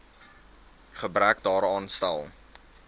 gebrek daaraan stel